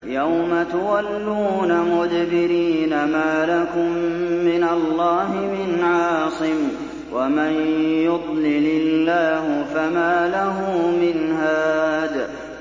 يَوْمَ تُوَلُّونَ مُدْبِرِينَ مَا لَكُم مِّنَ اللَّهِ مِنْ عَاصِمٍ ۗ وَمَن يُضْلِلِ اللَّهُ فَمَا لَهُ مِنْ هَادٍ